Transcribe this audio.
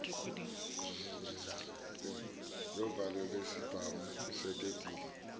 yovalo lwesibhamu usetetile